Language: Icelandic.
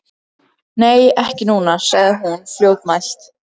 Nei, ekki núna, sagði hún fljótmælt.